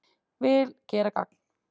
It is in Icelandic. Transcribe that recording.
Vil gera gagn